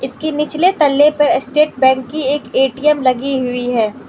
इसके निचले तल्ले पे स्टेट बैंक की एक ए_टी_एम लगी हुई है।